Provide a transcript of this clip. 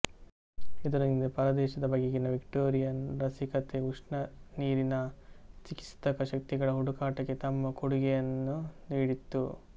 ಇದರೊಂದಿಗೆ ಪರದೇಶದ ಬಗೆಗಿನ ವಿಕ್ಟೋರಿಯನ್ರ ರಸಿಕತೆ ಉಷ್ಣ ನೀರಿನ ಚಿಕಿತ್ಸಕ ಶಕ್ತಿಗಳ ಹುಡುಕಾಟಕ್ಕೆ ತಮ್ಮ ಕೊಡುಗೆಯನ್ನು ನೀಡಿತು